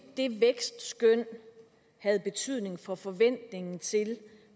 det vækstskøn havde betydning for forventningen til